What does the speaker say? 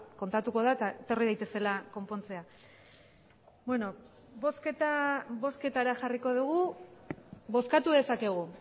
kontatuko da eta etorri daitezela konpontzera bozketara jarriko dugu bozkatu dezakegu